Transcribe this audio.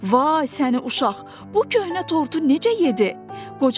Vay səni uşaq, bu köhnə tortu necə yedi?